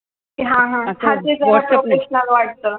हा हा हा ते जरा professional वाटतं